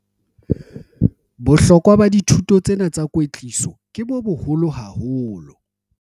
Bohlokwa ba dithuto tsena tsa kwetliso ke bo boholo haholo.